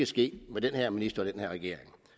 ske med den her minister og den her regering